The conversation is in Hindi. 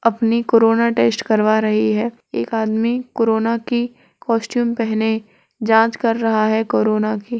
अपनी कोरोना टेस्ट करवा रही है। एक आदमी कोरोना की कास्टूम पहने जाँच कर रहा है कोरोना की --